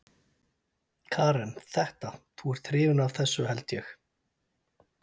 Karen: Þetta, þú ert hrifinn af þessu held ég?